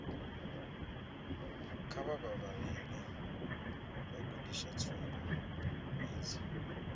kha vha vhalele vhagudiswa tsumbo idzi